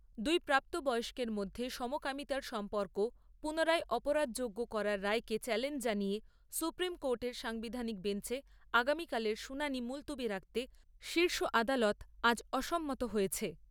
দুই প্রাপ্তবয়স্কের মধ্যে সমকামিতার সম্পর্ক পুনরায় অপরাধযোগ্য করার রায়কে চ্যালেঞ্জ জানিয়ে সুপ্রিম কোর্টের সাংবিধানিক বেঞ্চে আগামীকালের শুনানি মুলতুবি রাখতে শীর্ষ আদালত আজ অসম্মত হয়েছে।